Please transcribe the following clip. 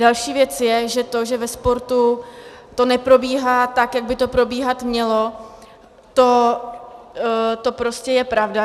Další věc je, že to, že ve sportu to neprobíhá tak, jak by to probíhat mělo, to prostě je pravda.